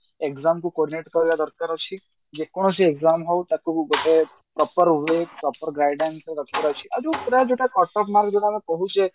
exam କୁ coordinate କରିବା ଦରକାର ଅଛି ଯ କୌଣସି exam ହଉ ତାକୁ ଗୋଟେ proper way proper guidance ରେ ରଖିବାର ଅଛି ଆଉ ଯୋଉ ଯୋଉଟା ଆମେ କହୁଛେ